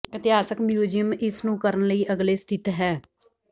ਇਤਿਹਾਸਕ ਮਿਊਜ਼ੀਅਮ ਇਸ ਨੂੰ ਕਰਨ ਲਈ ਅਗਲੇ ਸਥਿਤ ਹੈ